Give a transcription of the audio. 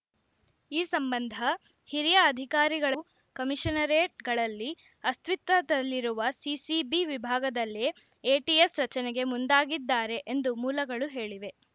ಈ ಸಂಬಂಧ ಹಿರಿಯ ಅಧಿಕಾರಿಗಳ ಕಮೀಷನರೆಟ್‌ಗಳಲ್ಲಿ ಅಸ್ತಿತ್ವದಲ್ಲಿರುವ ಸಿಸಿಬಿ ವಿಭಾಗದಲ್ಲೇ ಎಟಿಎಸ್‌ ರಚನೆಗೆ ಮುಂದಾಗಿದ್ದಾರೆ ಎಂದು ಮೂಲಗಳು ಹೇಳಿವೆ